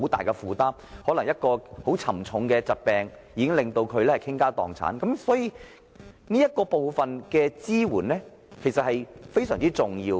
例如，他們可能因患上嚴重疾病而要傾家蕩產，這方面的支援因此變得非常重要。